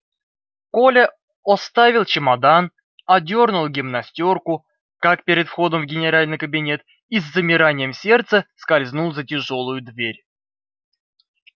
коля оставил чемодан одёрнул гимнастёрку как перед входом в генеральский кабинет и с замиранием сердца скользнул за тяжёлую дверь